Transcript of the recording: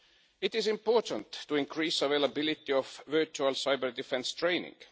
It is important to increase the availability of virtual cyber-defence training.